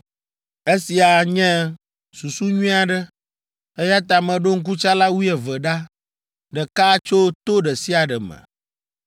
Esia nye susu nyui aɖe, eya ta meɖo ŋkutsala wuieve ɖa, ɖeka tso to ɖe sia ɖe me.